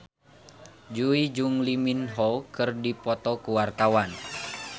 Jui jeung Lee Min Ho keur dipoto ku wartawan